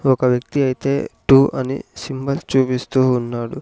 ఒక వ్యక్తి అయితే టూ అని సింబల్స్ చూపిస్తూ ఉన్నాడు.